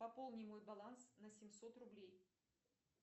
пополни мой баланс на семьсот рублей